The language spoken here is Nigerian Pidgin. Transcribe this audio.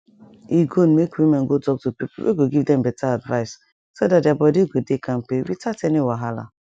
e good make women go talk to people wey go give them better advice so that their body go dey kampe without any wahala